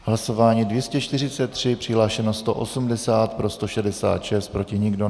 Hlasování 243, přihlášeno 180, pro 166, proti nikdo.